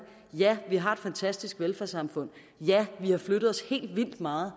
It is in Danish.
ja vi har et fantastisk velfærdssamfund ja vi har flyttet os helt vildt meget